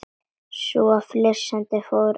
Svo fór hann að flissa.